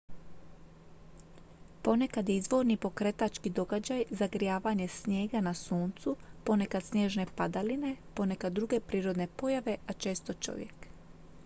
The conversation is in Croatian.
ponekad je izvorni pokretački događaj zagrijavanje snijega na suncu ponekad snježne padaline ponekad druge prirodne pojave a često čovjek